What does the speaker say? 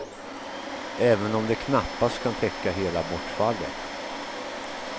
Även om det knappast kan täcka hela bortfallet.